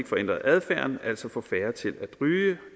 ændre adfærden altså få færre til at ryge